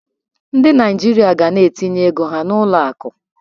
Ndị Naijiria ga na-etinye ego ha n'ụlọ akụ.